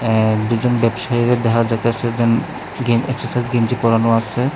অ্যা দুজন ব্যবসায়ীরে দেখা যাইতেসে যেন গেন এক্সারসাইজ গেঞ্জি পরানো আসে।